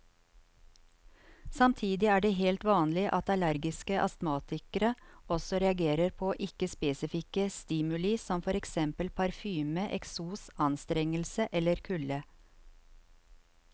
Samtidig er det helt vanlig at allergiske astmatikere også reagerer på ikke spesifikke stimuli som for eksempel parfyme, eksos, anstrengelse eller kulde.